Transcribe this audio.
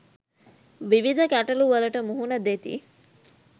විවිධ ගැටලු වලට මුහුණ දෙති.